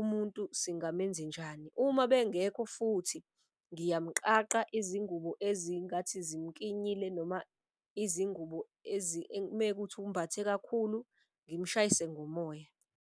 umuntu singamenze njani. Uma bengekho futhi ngiyamuqaqa izingubo ezingathi zimukinyile, noma izingubo mekuthi umbathe kakhulu ngimushayise ngomoya.